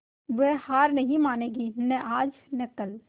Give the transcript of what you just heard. वह हार नहीं मानेगी न आज और न कल